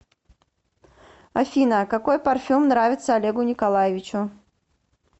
афина какой парфюм нравится олегу николаевичу